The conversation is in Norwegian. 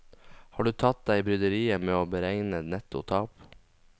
Har du tatt deg bryderiet med å beregne netto tap?